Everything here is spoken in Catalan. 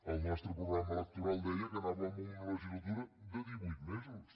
el nostre programa electoral deia que anàvem a una legislatura de divuit mesos